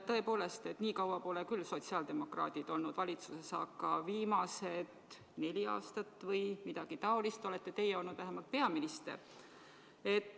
Tõepoolest, nii kaua pole küll sotsiaaldemokraadid olnud valitsuses, aga viimased neli aastat või umbes nii kaua olete teie olnud peaminister.